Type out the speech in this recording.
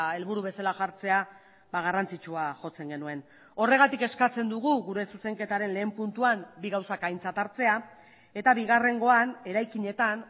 helburu bezala jartzea garrantzitsua jotzen genuen horregatik eskatzen dugu gure zuzenketaren lehen puntuan bi gauzak aintzat hartzea eta bigarrengoan eraikinetan